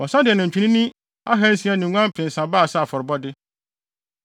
Wɔsan de anantwinini ahansia ne nguan mpensa baa sɛ afɔrebɔde.